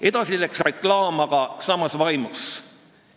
Edasi läks reklaam aga samas vaimus.